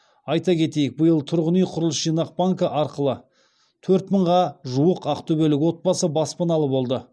айта кетейік биыл тұрғын үй құрылыс жинақ банкі арқылы төрт мыңға жуық ақтөбелік отбасы баспаналы болды